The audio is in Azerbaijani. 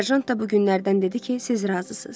Serjant da bu günlərdən dedi ki, siz razısız.